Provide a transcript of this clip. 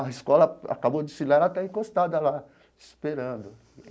A escola acabou o desfile lá e ela está encostada lá, esperando.